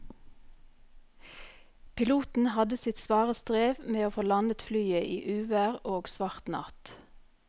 Piloten hadde sitt svare strev med å få landet flyet i uvær og svart natt.